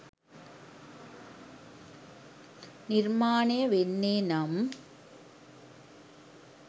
නිර්මාණය වෙන්නේ නම්